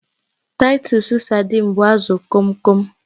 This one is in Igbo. Titus saidin but azụ Kom kom